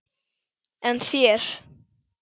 En þér?